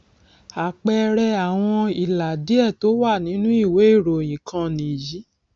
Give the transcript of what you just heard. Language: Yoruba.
àpẹẹrẹ àwọn ìlà díẹ tó wà nínú ìwé ìròyìn kan nìyí